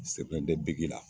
Sɛbɛn tɛ bigi la